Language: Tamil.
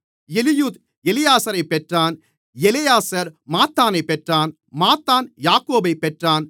எலியூத் எலெயாசாரைப் பெற்றான் எலெயாசார் மாத்தானைப் பெற்றான் மாத்தான் யாக்கோபைப் பெற்றான்